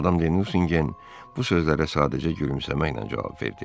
Madam de Nusingen bu sözlərə sadəcə gülümsəməklə cavab verdi.